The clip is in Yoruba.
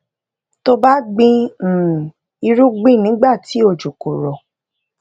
tó o bá gbìn um irúgbìn nígbà tí òjò kò rò